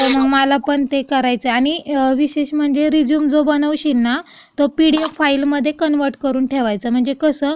मग मला पण ते करायचंय, आणि विशेष म्हणजे रेझ्यूम जो बनवशील ना, तो पिडीएफ फाइलममध्ये कन्वर्ट करून ठेवायचा. म्हणजे कसं,